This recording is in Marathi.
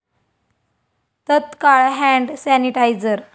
तत्काळ हॅण्ड सॅनिटायझर